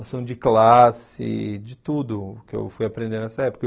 Noção de classe, de tudo que eu fui aprendendo nessa época.